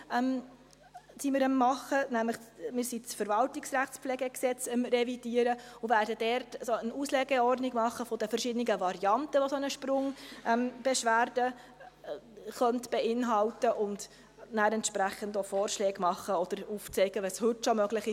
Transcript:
Wir revidieren nämlich das Gesetz über die VerwaltungsrechtspflegeVRPG) und werden dort eine Auslegeordnung der verschiedenen Varianten machen, welche eine Sprungbeschwerde beinhalten könnten, um danach entsprechende Vorschläge zu machen oder aufzuzeigen, was heute schon möglich ist.